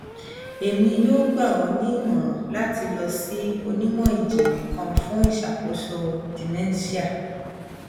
emi yoo gba ọ ni imọran lati lọ si onimọjinlẹ kan fun iṣakoso dementia